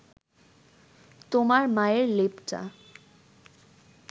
তোমার মায়ের লেপটা